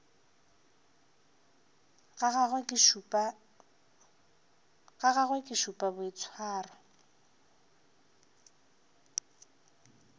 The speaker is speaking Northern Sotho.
ga gagwe ke šupa boitshwaro